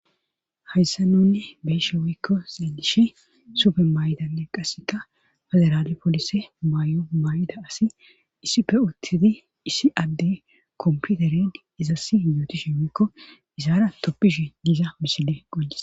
hayssa nunne beeshe wikko xeelishi sufe may7danne qasseka federaali polise mayo may7ida asi issipe uttidi issi adde komputered izasi yootishi woikko isaara toppishi diiza misile qoncises